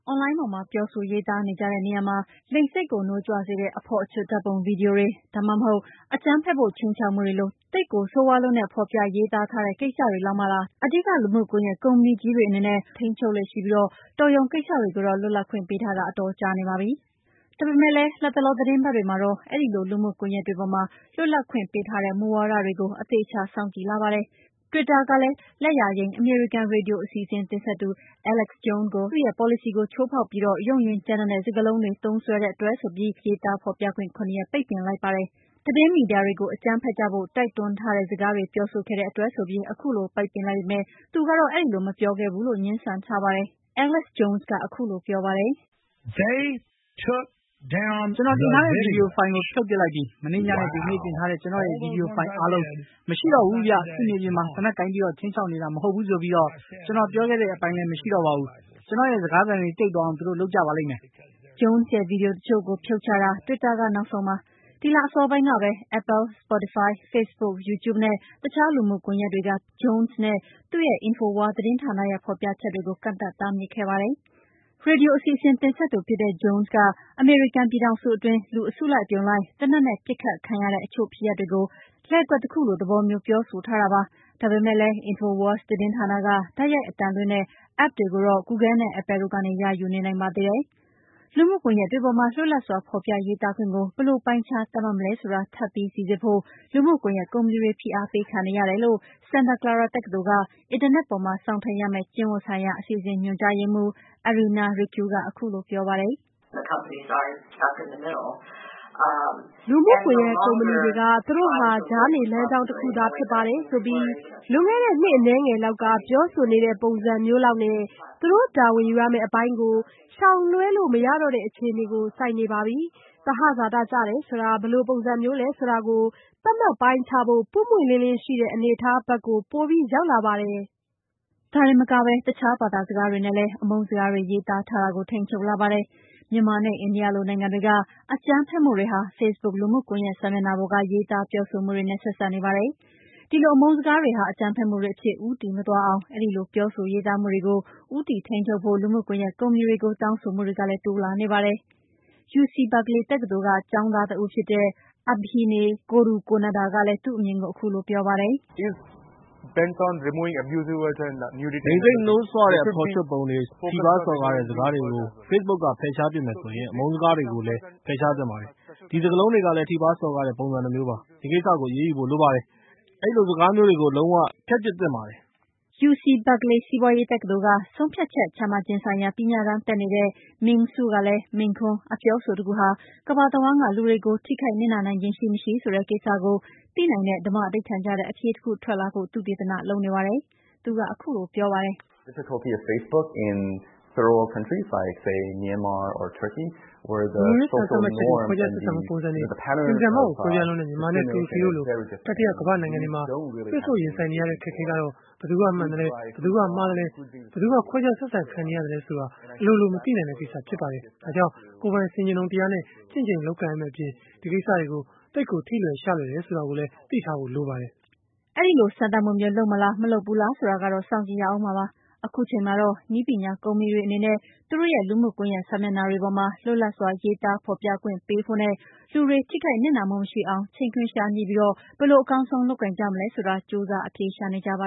အွန်လိုင်းပေါ်မှာ ပြောဆိုရေးသားနေကြတဲ့နေရာမှာ လိင်စိတ်ကို နှိုးကြွစေတဲ့ အဖော်အချွတ် ဓာတ်ပုံဗွီဒီယိုတွေ၊ ဒါမှမဟုတ် အကြမ်းဖက်ဖို့ ခြိမ်းခြောက်မှုတွေလို သိပ်ဆိုးရွားလွန်းတဲ့ ဖော်ပြရေးသားတဲ့ ကိစ္စတွေလောက်မှသာအဓိကလူမှုကွန်ယက်ကုမ္ပဏီကြီးတွေအနေနဲ့ ထိန်းချုပ်လေ့ရှိပြီး တော်ရုံကိစ္စတွေကိုတော့ လွတ်လပ်ခွင့်ပေးထားတာ အတော်ကြာနေပါပြီ။ ဒါပေမယ့်လည်း လတ်တလောသီတင်းပတ်တွေမှာတော့ အဲဒီလို လူမှုကွန်ယက်တွေပေါ်မှာလွတ်လပ်ခွင့်ပေးထားတဲ့ မူဝါဒတွေကို အသေအချာစောင့်ကြည့်လာကြပါတယ်။ လက်ယာယိမ်းအမေရိကန် ရေဒီယိုအစီအစဉ်တင်ဆက်သူ Alex Jones ဟာ တွစ်တာလူမှုကွန်ယက်ကုမ္ပဏီရဲ့ ပေါ်လစီကို ချိုးဖောက်ပြီး ရုန့်ရင်းကြမ်းတမ်းတဲ့ စကားလုံးတွေသုံးစွဲတဲ့အတွက်ဆိုပြီး တွစ်တာရဲ့ စာမျက်နှာမှာ ရေးသားဖော်ပြခွင့် ၇ ရက်ပိတ်ပင်လိုက်ပါတယ်။ သတင်းမီဒီယာတွေကို အကြမ်းဖက်ကြဖို့ တိုက်တွန်းလိုက်ထားတဲ့ စကားတွေပြောဆိုခဲ့တဲ့အတွက်ဆိုပြီး ခုလိုပိတ်ပင်လိုက်ပေမယ့် Jones ကတော့ အဲဒီလိုမပြောခဲ့ဘူးဆိုပြီး ငြင်းဆန်ပါတယ်။ "ကျနော်တင်ထားတဲ့ ဗွီဒီယိုဖိုင်ကို ဖြုတ်ပစ်လိုက်ပြီ။ မနေ့ညနဲ့ ဒီကနေ့ တင်ထားတဲ့ ကျနော့်ရဲ့ ဗွီဒီယိုဖိုင်အားလုံး မရှိတော့ဘူးဗျ။ စစ်မြေပြင်မှာ သေနတ်ကိုင်ပြီး ခြိမ်းချောက်နေတာမဟုတ်ဘူးဆိုပြီး ကျနော်ပြောခဲ့တဲ့အပိုင်းလည်းမရှိတော့ဘူး။ ကျနော့်ရဲ့ စကားသံတွေ တိတ်သွားအောင် သူတို့လုပ်ကြလိမ့်မယ်" Jones ရဲ့ ဗွီဒီယိုတချို့ကို ဖြုတ်ချတာ တွစ်တာက နောက်ဆုံးပါ။ ဒီလအစောပိုင်းကပဲ Apple, Spotify, Facebook, You Tube နဲ့ အခြားလူမှုကွန်ယက်တွေက သူတို့ကုမ္ပဏီပေါ်က Jones နဲ့ သူ့ရဲ့ InfoWars သတင်းဌာနရဲ့ ဖော်ပြချက်တွေကို ကန့်သတ်တားမြစ်ခဲ့ပါတယ်။ ရေဒီယိုအစီအစဉ်တင်ဆက်သူဖြစ်တဲ့ Jones က အမေရိကန်ပြည်ထောင်စုအတွင်း လူအစုလိုက်အပြုံလိုက် သေနတ်နဲ့ပစ်ခတ်ခံရတဲ့ အချို့ဖြစ်ရပ်တွေကို လှည့်ကွက်တခုလို သဘောမျိုး ပြောဆိုထားတာပါ။ ဒါပေမယ့်လည်း InfoWars သတင်းဌာနက တိုက်ရိုက်အသံလွှင့်တဲ့ App တွေကိုတော့ Google နဲ့ Apple တို့ကနေ ရာယူနေနိုင်ပါသေးတယ်။ လူမှုကွန်ယက်တွေပေါ်မှာ လွတ်လပ်စွာ ဖော်ပြရေးသားခွင့်ကို ဘယ်လို ပိုင်းခြား သတ်မှတ်မလဲဆိုတာ ထပ်ပြီးစိစစ်ဖို့ လူမှုကွန်ယက်ကုမ္ပဏီတွေ ဖိအားပေးခံနေရတယ်လို့ Santa Clara တက္ကသိုလ်၊ အင်တာနက်ပေါ်မှာ စောင့်ထိမ်းရမယ့်ကျင့်ဝတ်ဆိုင်ရာ အစီအစဉ် ညွှန်ကြားရေးမှုး Irina Raicu ကခုလိုပြောပါတယ်။ "လူမှုကွန်ယက်ကုမ္ပဏီတွေက သူတို့ဟာ ကြားနေလမ်းကြောင်းတခုသာ ဖြစ်ပါတယ်ဆိုပြီး လွန်ခဲ့တဲ့နှစ်အနည်းငယ်လောက်က ပြောဆိုနေတဲ့ပုံစံမျိုးလောက်နဲ့ သူတို့တာဝန်ယူရမယ့် အပိုင်းကို ရှောင်လွဲလို့မရတော့တဲ့အခြေအနေကို ဆိုက်နေပါပြီ။ သဟဇာတကျတယ်ဆိုတာ ဘယ်လိုပုံစံမျိုးလည်းဆိုတာကို သတ်မှတ်ပိုင်းခြားဖို့ ပွင့်ပွင့်လင်းလင်းရှိတဲ့ အနေအထားဘက်ကို ပိုပြီးရောက်လာပါတယ်" ဒါတင်မကပဲ အခြားဘာသာစကားတွေနဲ့ အမုန်းစကားတွေတွေရေးသားတာကိုလည်း ထိန်းချုပ်လာပါတယ်။ မြန်မာနဲ့ အိန္ဒိယလိုနိုင်ငံတွေက အကြမ်းဖက်မှုတွေဟာ ဖေ့ဘုတ်လူမှုကွန်ယက်စာမျက်နှာပေါ်က ရေးသားပြောဆိုမှုတွေနဲ့ ဆက်စပ်နေပါတယ်။ ဒီလို အမုန်းစကားတွေဟာ အကြမ်းဖက်မှုတွေအဖြစ် ဦးတည်မသွားအောင် အဲဒီပြောဆိုရေးသားမှုတွေကို ဦးတည်ပြီး ထိန်းချုပ်ဖို့ လူမှုကွန်ယက်ကုမ္ပဏီတွေကို တောင်းဆိုမှုတွေလည်း တိုးလာနေတာပါ။ UC BERKELEY တက္ကသိုလ်ကျောင်းသား ABHINAY KORUKONDA ကလည်း သူ့အမြင်ကို ခုလိုပြောပါတယ်။ "လိင်စိတ်နှိုးဆွတဲ့ အဖော်အချွတ်ပုံတွေ၊ ထိပါးစော်ကားတဲ့ စကားတွေကို ဖေ့စ်ဘုတ်က ဖယ်ရှားပစ်မယ်ဆိုရင်၊ အမုန်းစကားတွေကိုလည်း ဖယ်ရှားပစ်သင့်ပါတယ်။ ဒီစကားလုံးတွေကလည်း ထိပါးစော်ကားတဲ့ ပုံစံတမျိုးပါ။ ဒီကိစ္စကို အရေးယူဖို့လိုပါတယ်။ အဲဒီလို စကားမျိုးတွေကို လုံး၀ ဖျက်ပစ်သင့်ပါတယ်" UC Berkeley စီးပွါးရေးတက္ကသိုလ်က " ဆုံးဖြတ်ချက်ချမှတ်ခြင်းဆိုင်ရာ" ပညာတန်းတက်နေတဲ့ Ming Hsu ကလည်း မိန့်ခွန်းတခု၊ အပြောအဆိုတခုဟာ ကမ္ဘာတဝှမ်းက လူတွေကို ထိခိုင်နဟ်နာနိုင်ခြင်းရှိမရှိဆိုတဲ့ကိစ္စကို သိနိုင်တဲ့ဓမ္မဓိဌာန်ကျတဲ့ အဖြေတခုထွက်လာဖို့ သုတေသနလုပ်နေပါတယ်။ "လူမှုရေးစံသတ်မှတ်ချက်တွေ၊ ခွဲခြားဆက်ဆံမှုပုံစံတွေ သိပ်ကိုကွဲပြားလွန်းတဲ့ မြန်မာနဲ့တူရကီလို တတိယကမ္ဘာ့နိုင်ငံတွေမှာ ဖေ့ဘုတ်ရင်ဆိုင်နေရတဲ့ အခက်အခဲကတော့ ဘယ်သူကမှန်သလဲ၊ ဘယ်သူကမှားသလဲ၊ ဘယ်သူက ခွဲခြားဆက်ဆံခံနေရသလဲဆိုတာ အလိုလို မသိနိုင်တဲ့ကိစ္စဖြစ်ပါတယ်။ ဒါကြောင့် ကိုယ်ပိုင်ဆင်ခြင်တုံတရားနဲ့ ချင့်ချိန်လုပ်ကိုင်ရမယ့်အပြင် အဲဒီကိစ္စတွေကို သိပ်ကို ထိလွယ်ရှလွယ်လွန်းတယ်ဆိုတာသိထားဖို့လည်းလိုပါတယ်" အဲဒီလို စမ်းသပ်မှုမျိုး လုပ်မလား၊ မလုပ်ဘူးလားဆိုတာကိုလည်း စောင့်ကြည့်ရဦးမှာပါ။ ခုချိန်မှာတော့ နည်းပညာကုမ္ပဏီတွေအနေနဲ့ သူတို့ရဲ့ လူမှုကွန်ယက်စာမျက်နှာပေါ်မှာ လွတ်လပ်စွာရေးသားဖော်ပြခွင့်ပေးတဲ့တချိန်ထဲမှာ လူတွေထိခိုက်နစ်နာမှုမရှိအောင် ချိန်ခွင်လျှာညှိပြီး ဘယ်လို အကောင်းဆုံး လုပ်ကိုင်ကြမလဲဆိုတာ ကြိုးစားအဖြေရှာနေကြပါ